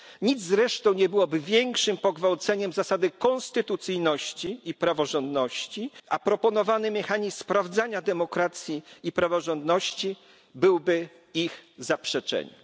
Nic zresztą nie byłoby większym pogwałceniem zasady konstytucyjności i praworządności, a proponowany mechanizm sprawdzania demokracji i praworządności byłby jej zaprzeczeniem.